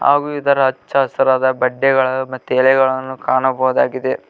ಹಾಗೂ ಇದರ ಹಚ್ಚ ಹಸಿರಾದ ಪಡ್ಡೆಗಳು ಮತ್ತು ಎಲೆಗಳನ್ನು ಕಾಣಬಹುದಾಗಿದೆ.